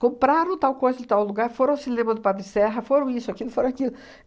Compraram tal coisa de tal lugar, foram ao cinema do Padre Serra, foram isso, aquilo, foram aquilo.